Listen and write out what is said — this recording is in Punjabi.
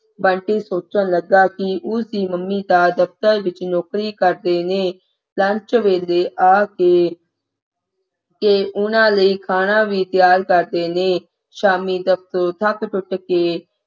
ਬੰਟੀ ਸੋਚਣ ਲੱਗਾ ਕਿ ਉਸ ਦੀ ਮੰਮੀ ਤਾਂ ਦਫ਼ਤਰ ਵਿੱਚ ਨੌਕਰੀ ਕਰਦੇ ਨੇ lunch ਵਿਚ ਘਰ ਆ ਕੇ ਤੇ ਉਨ੍ਹਾਂ ਲਈ ਖਾਣਾ ਵੀ ਤਿਆਰ ਕਰਦੇ ਨੇ ਸ਼ਾਮੀਂ ਦਫਤਰੋਂ ਥੱਕ ਟੁੱਟ ਕੇ